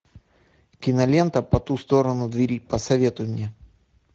кинолента по ту сторону двери посоветуй мне